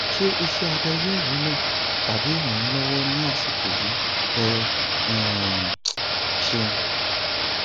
ṣé iṣẹabẹ yóò wúlò tàbí rànán lọwọ ní àsìkò yìí ẹ um ṣéun